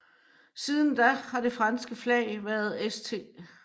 Siden da har det franske flag været St